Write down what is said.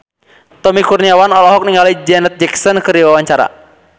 Tommy Kurniawan olohok ningali Janet Jackson keur diwawancara